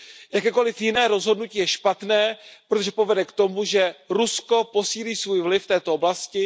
Jakékoliv jiné rozhodnutí je špatné, protože povede k tomu, že Rusko posílí svůj vliv v této oblasti.